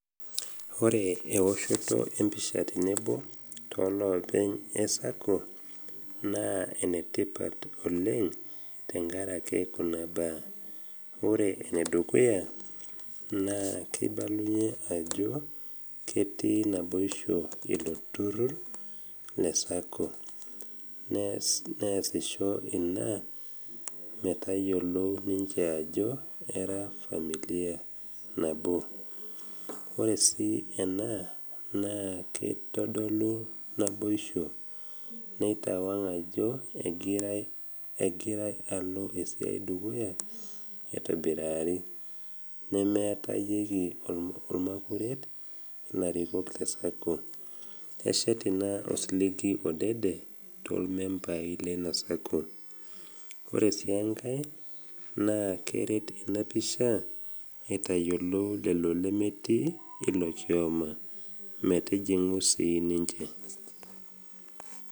Ore ewosho empisha tenebo tooloopeny e SACCO naa enetipat oleng tenkarake kuna baa, ore enedukuya naa keibalunye ajo ketii naboisho ilo turrur le SACCO, nesisho ina metayolou ninche ajo era efamilia nabo. Ore sii ena naa keitodolu naboisho, neitawang’ ajo egira alo esiai dukuya aitobirari nemeatayieki olmakuret ilarikok le SACCO. Eshat ina osiligi odede tolmembai leina SACCO. Ore sii engai, naa keret ina pisha aitayiolo lelo lemetii ilo kioma metijing’u sii ninche.